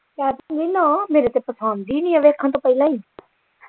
ਕਰਤੀ ਨਾਂ ਮੇਰੇ ਤੇ ਪਸੰਦ ਈ ਨਹੀਂ ਆ ਵੇਖਣ ਤੋਂ ਪਹਿਲਾਂ ਹੀ।